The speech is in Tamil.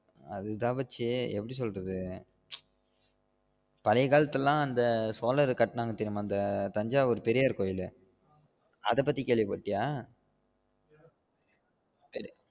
அது தான் மச்சி எப்படி சொல்றது பழைய காலத்துல அந்த சோழர் கட்டுனாங்க தெர்யுமா அந்த தஞ்சாவூர் பெரிய கோவில்லு அத பத்தி கேள்வி பட்டிய?